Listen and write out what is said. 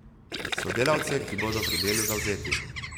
Sodelavce, ki bodo pri delu zavzeti.